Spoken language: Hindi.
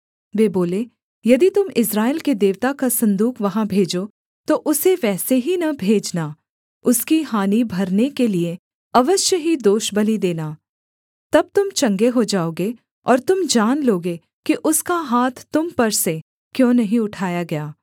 वे बोले यदि तुम इस्राएल के देवता का सन्दूक वहाँ भेजो तो उसे वैसे ही न भेजना उसकी हानि भरने के लिये अवश्य ही दोषबलि देना तब तुम चंगे हो जाओगे और तुम जान लोगे कि उसका हाथ तुम पर से क्यों नहीं उठाया गया